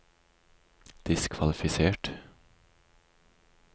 diskvalifisert